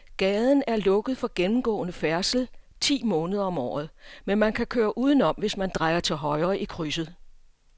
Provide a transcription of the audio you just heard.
Gaden er lukket for gennemgående færdsel ti måneder om året, men man kan køre udenom, hvis man drejer til højre i krydset.